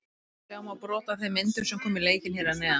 Sjá má brot af þeim myndum sem koma í leikinn hér að neðan.